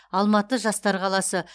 алматы жастар қаласы